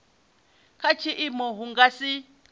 kha tshiimo hu nga si